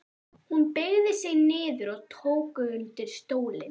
Hún beygði sig niður og tók undir stólinn.